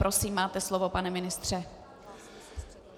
Prosím, máte slovo, pane ministře.